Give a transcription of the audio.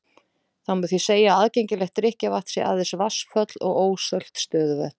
Það má því segja að aðgengilegt drykkjarvatn sé aðeins vatnsföll og ósölt stöðuvötn.